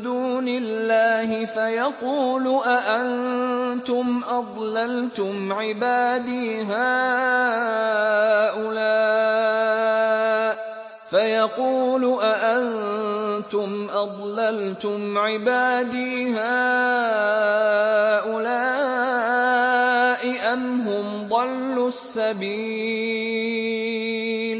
دُونِ اللَّهِ فَيَقُولُ أَأَنتُمْ أَضْلَلْتُمْ عِبَادِي هَٰؤُلَاءِ أَمْ هُمْ ضَلُّوا السَّبِيلَ